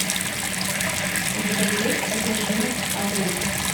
у тебя есть одержимость авы